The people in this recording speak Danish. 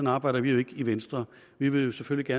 arbejder vi jo ikke i venstre vi vil selvfølgelig